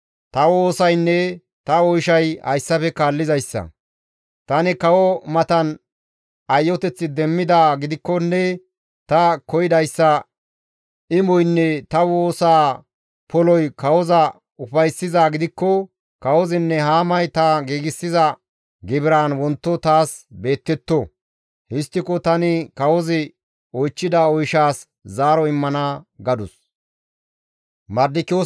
«Ta woosaynne ta oyshay hayssafe kaallizayssa; tani kawo matan ayyoteth demmidaa gidikkonne ta koyidayssa imoynne ta woosaa poloy kawoza ufayssizaa gidikko kawozinne Haamay ta giigsiza gibiraan wonto taas beettetto; histtiko tani kawozi oychchida oyshaas zaaro immana» gadus.